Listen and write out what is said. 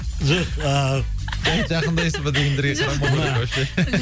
жоқ ыыы жақындайсыз ба дегендерге қарамауға